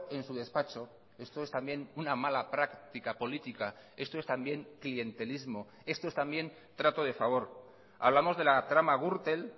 en su despacho esto es también una mala práctica política esto es también clientelismo esto es también trato de favor hablamos de la trama gürtel